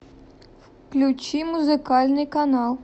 включи музыкальный канал